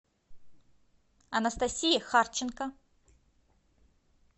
анастасии харченко